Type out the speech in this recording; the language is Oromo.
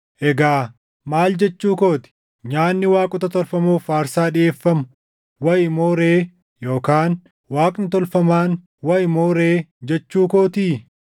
Egaa maal jechuu koo ti? Nyaanni waaqota tolfamoof aarsaa dhiʼeeffamu wayi moo ree yookaan Waaqni tolfamaan wayi moo ree jechuu kootii?